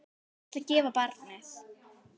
Ég ætla að gefa barnið.